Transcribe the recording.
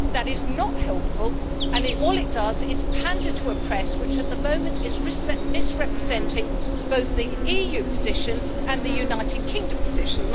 That is not helpful, and all it does is pander to a press which at the moment is misrepresenting both the EU position and the United Kingdom position.